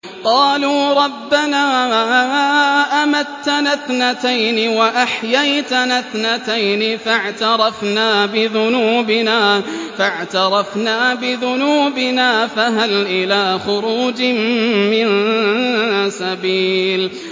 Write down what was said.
قَالُوا رَبَّنَا أَمَتَّنَا اثْنَتَيْنِ وَأَحْيَيْتَنَا اثْنَتَيْنِ فَاعْتَرَفْنَا بِذُنُوبِنَا فَهَلْ إِلَىٰ خُرُوجٍ مِّن سَبِيلٍ